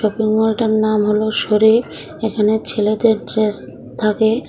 এই মলটার নাম হল শরিফ এখানে ছেলেদের ড্রেস থাকে।